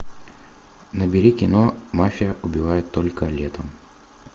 набери кино мафия убивает только летом